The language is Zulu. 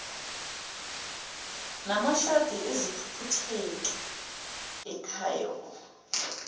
namashadi eziphuphutheki icao